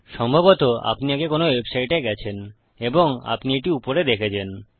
সম্ভবত আপনি আগে কোনো ওয়েবসাইটে গেছেন এবং আপনি এটি উপরে দেখেছেন